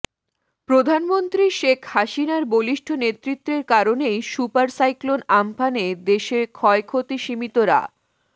প্রধানমন্ত্রী শেখ হাসিনার বলিষ্ঠ নেতৃত্বের কারণেই সুপার সাইক্লোন আম্পানে দেশে ক্ষয়ক্ষতি সীমিত রা